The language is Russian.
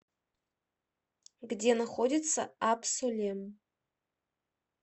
где находится абсолем